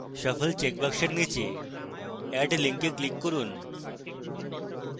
shuffle checkbox নীচে add link click করুন